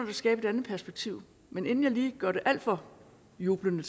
at skabe et andet perspektiv men inden jeg lige bliver alt for jublende